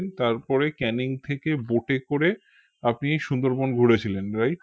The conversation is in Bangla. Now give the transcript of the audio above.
তারপরে ক্যানিং থেকে boat এ করে আপনি সুন্দরবন ঘুরেছিলেন right